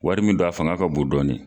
Wari min don a fanga ka bon dɔɔnin